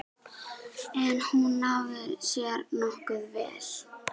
En hún náði sér nokkuð vel.